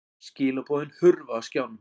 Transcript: Skilaboðin hurfu af skjánum.